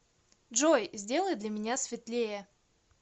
джой сделай для меня светлее